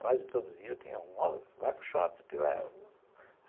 Quase todo dia eu tinha um, outro, vai para o Shopping, te levo.